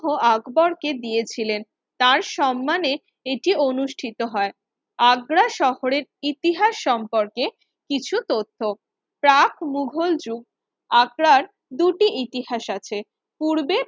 হ আকবর কে দিয়েছিলেন তার সম্মানে এটি অনুষ্ঠিত হয় আগ্রা শহরের ইতিহাস সম্পর্কে কিছু তথ্য - প্রাক মুঘল যুগ আগ্রার দুটি ইতিহাস আছে, পূর্বে